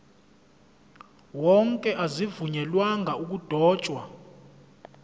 wonke azivunyelwanga ukudotshwa